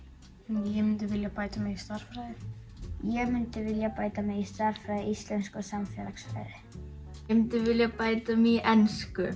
ég myndi vilja bæta mig í stærðfræði ég myndi vilja bæta mig í stærðfræði íslensku og samfélagsfræði ég myndi vilja bæta mig í ensku